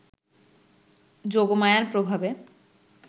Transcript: যোগমায়ার প্রভাবে